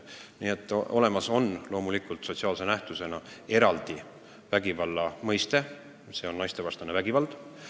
Nii et loomulikult on eraldi sotsiaalse nähtusena olemas naistevastane vägivald.